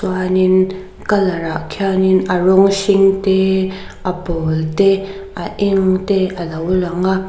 chuanin colour ah khianin a rawng hring te a pawl te a eng te alo lang a--